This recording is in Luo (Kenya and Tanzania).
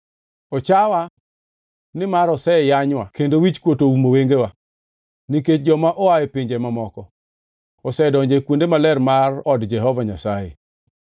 “Ochawa, nimar oseyanywa kendo wichkuot oumo wengewa, nikech joma oa e pinje mamoko osedonjo e kuonde maler mar od Jehova Nyasaye.”